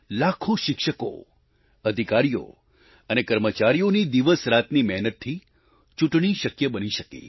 લાખો શિક્ષકો અધિકારીઓ અને કર્મચારીઓની દિવસરાતની મહેનતથી ચૂંટણી શક્ય બની શકી